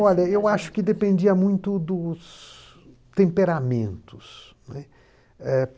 Olha, eu acho que dependia muito dos temperamentos, né. Eh